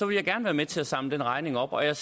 vil jeg gerne være med til at samle den regning op og jeg